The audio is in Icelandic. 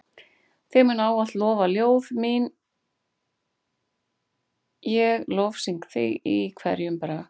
Þig munu ávallt lofa ljóð mín ég lofsyng þig í hverjum brag.